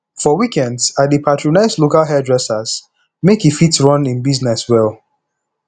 for weekends i dey patronize local hairdresser make e fit run im business well